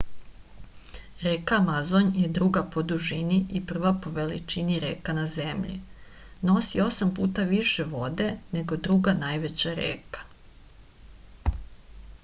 reka amazon je druga po dužini i prva po veličini reka na zemlji nosi 8 puta više vode nego druga najveća reka